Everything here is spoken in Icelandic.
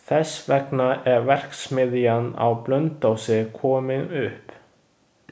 Þess vegna er verksmiðjan á Blönduósi komin upp.